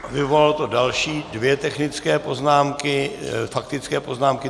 Vyvolalo to další dvě technické poznámky, faktické poznámky.